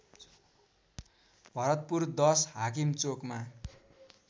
भरतपुर १० हाकिम चोकमा